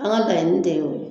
An ka laɲini de y'o ye